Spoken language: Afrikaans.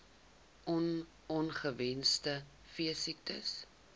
on ongewenste veesiektes